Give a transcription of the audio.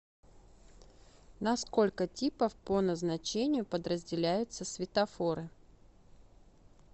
на сколько типов по назначению подразделяются светофоры